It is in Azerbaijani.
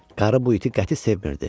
Qarı bu iti qəti sevmirdi.